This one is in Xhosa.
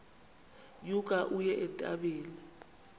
nyuka uye entabeni